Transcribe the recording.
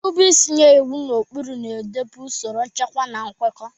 Nrube isi nye iwu na ụkpụrụ na-edobe usoro, nchekwa, na nkwekọ.